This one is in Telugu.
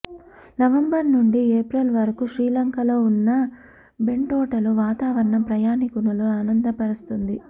నవంబర్ నుండి ఏప్రిల్ వరకు శ్రీలంకలో ఉన్న బెంటోటలో వాతావరణం ప్రయాణీకులను ఆనందపరుస్తుంది